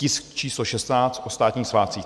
Tisk číslo 16, o státních svátcích.